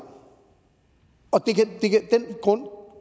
og